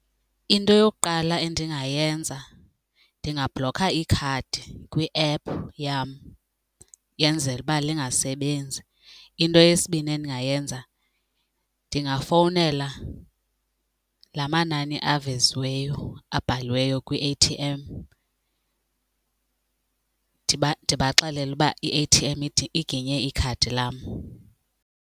Into eyokuqala endingayenza ndingabhlokha ikhadi kwi-app yam yenzela uba lingasebenzi. Into yesibini endingayenza ndingafowunela la manani aveziweyo abhaliweyo kwi-A_T_M ndibaxelele ukuba i-A_T_M iginye ikhadi lam.